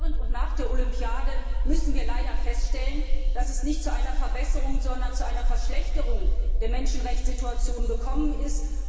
Aber während und nach der Olympiade mussten wir leider feststellen, dass es nicht zu einer Verbesserung, sondern zu einer Verschlechterung der Menschenrechtssituation gekommen ist.